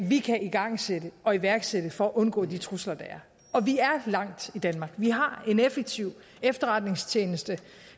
vi kan igangsætte og iværksætte for at undgå de trusler der er og vi er langt i danmark vi har en effektiv efterretningstjeneste